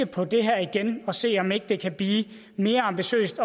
på det her igen og se om ikke det kan blive mere ambitiøst